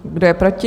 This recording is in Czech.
Kdo je proti?